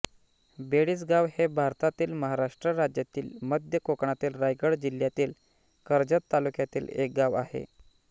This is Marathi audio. बेडीसगाव हे भारतातील महाराष्ट्र राज्यातील मध्य कोकणातील रायगड जिल्ह्यातील कर्जत तालुक्यातील एक गाव आहे